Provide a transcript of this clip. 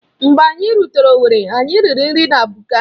Mgbe anyị rutere owerri, anyị riri nri na Buka.